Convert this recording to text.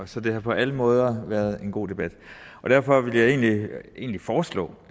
så det har på alle måder været en god debat derfor vil jeg egentlig foreslå